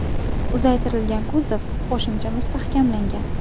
Uzaytirilgan kuzov qo‘shimcha mustahkamlangan.